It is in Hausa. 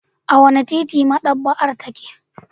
A wane titi maɗaba'ar take?